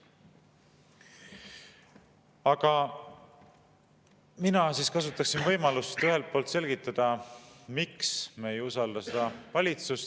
Aga mina kasutaksin võimalust selgitada, miks me ei usalda seda valitsust.